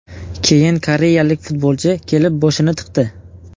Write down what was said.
Keyin koreyalik futbolchi kelib boshini tiqdi.